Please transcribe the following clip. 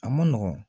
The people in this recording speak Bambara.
A man nɔgɔn